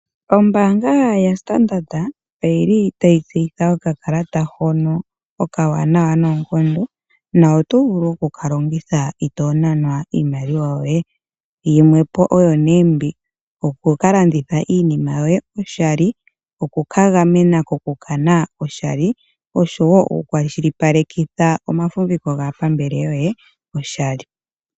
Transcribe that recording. Ombanga yaStandard oyili tayi tseyitha okakalata hono okawanawa noonkondo no to vulu okukalongitha ito nanwa iimaliwa yoye. Yimwe oyo ne okukalanditha iinima yoye oshali, okuka gamena koku kana oshali oshowo okukwashilipalekitha omafumviko gaapambele yoye oshali.